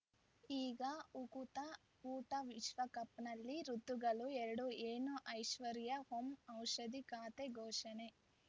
ಈಗ ಉಕುತ ಊಟ ವಿಶ್ವಕಪ್‌ನಲ್ಲಿ ಋತುಗಳು ಎರಡು ಏನು ಐಶ್ವರ್ಯಾ ಓಂ ಔಷಧಿ ಖಾತೆ ಘೋಷಣೆ